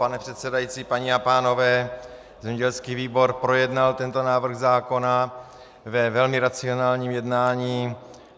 Pane předsedající, paní a pánové, zemědělský výbor projednal tento návrh zákona ve velmi racionálním jednání.